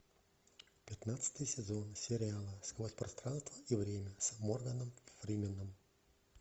пятнадцатый сезон сериала сквозь пространство и время с морганом фрименом